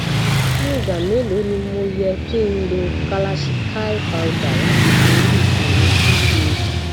ní igba mélòó ni mo yẹ kí n lo kalachikai powder láti bori ìṣòro pcod